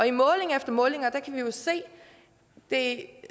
i måling efter måling kan vi jo se det